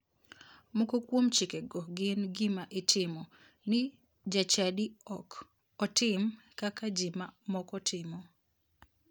Moko kuom chikego gin gima itimo ni jachadi ok otim kaka ji ma moko timo